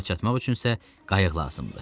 Ora çatmaq üçün isə qayıq lazımdır.